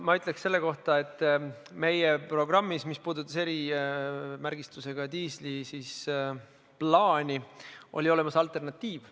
Ma ütleks selle kohta, et meie programmis, mis puudutas erimärgistusega diisli plaani, oli olemas alternatiiv.